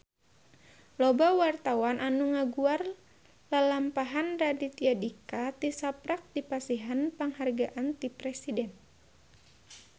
Loba wartawan anu ngaguar lalampahan Raditya Dika tisaprak dipasihan panghargaan ti Presiden